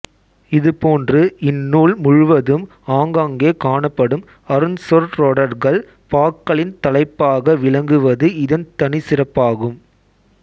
இது போன்று இந்நூல் முழுவதும் ஆங்காங்கே காணப்படும் அருஞ் சொற்றொடர்கள் பாக்களின் தலைப்பாக விளங்குவது இதன் தனிச்சிறப்பாகும்